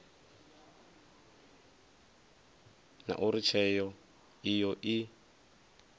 na uri tsheo iyo i